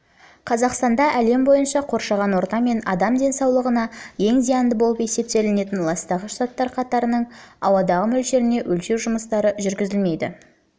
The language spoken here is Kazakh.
қазақстанда әлем бойынша қоршаған орта мен адамның денсаулығына ең зиянды болып есептелетін ластағыш заттар қатарының ауадағы мөлшеріне өлшеу жұмыстары жүргізілмейді